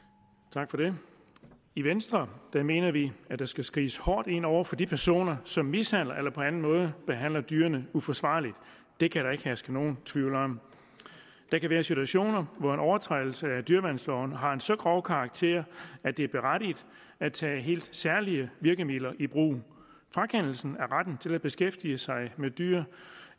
tak for det i venstre mener vi at der skal skrides hårdt ind over for de personer som mishandler eller på anden måde behandler dyrene uforsvarligt det kan der ikke herske nogen tvivl om der kan være situationer hvor en overtrædelse af dyreværnsloven har en så grov karakter at det er berettiget at tage helt særlige virkemidler i brug frakendelse af retten til at beskæftige sig med dyr